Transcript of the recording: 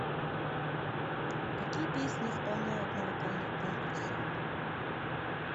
какие песни исполняют на вокальных конкурсах